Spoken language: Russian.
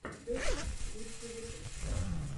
дэдвич лучший выпуск